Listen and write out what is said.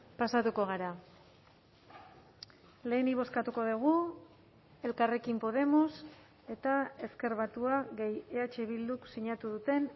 pasatuko gara lehenik bozkatuko dugu elkarrekin podemos eta ezker batua gehi eh bilduk sinatu duten